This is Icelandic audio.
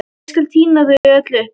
Ég skal tína þau öll upp.